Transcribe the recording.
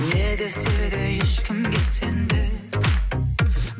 не десе де ешкімге сенбе